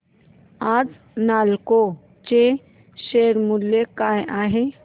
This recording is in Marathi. आज नालको चे शेअर मूल्य काय आहे